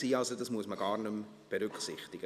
Also, das muss man gar nicht mehr berücksichtigen.